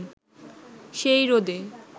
সেই রোদে